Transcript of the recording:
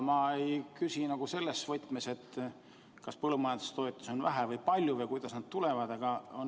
Ma ei küsi selles võtmes, kas põllumajandustoetusi on vähe või palju või kuidas nad tulevad.